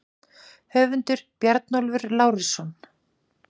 Höfundur: Bjarnólfur Lárusson